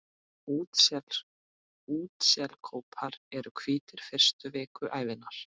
Útselskópar eru hvítir fyrstu vikur ævinnar.